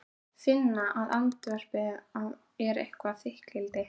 Finna að andvarpið er eitthvert þykkildi.